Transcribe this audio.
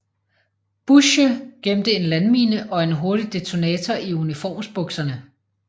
Bussche gemte en landmine og en hurtig detonator i uniformsbukserne